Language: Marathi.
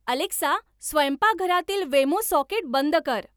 अलेक्सा स्वयंपाकघरातील वेमो सॉकेट बंद कर